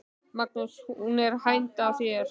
Magnús: Hún er hænd að þér?